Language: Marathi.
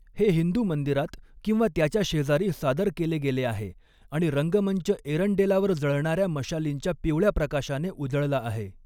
हे हिंदू मंदिरात किंवा त्याच्या शेजारी सादर केले गेले आहे आणि रंगमंच एरंडेलावर जळणाऱ्या मशालींच्या पिवळ्या प्रकाशाने उजळला आहे.